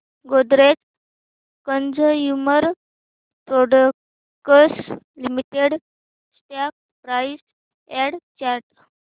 Godrej consumer products limited stock price and chart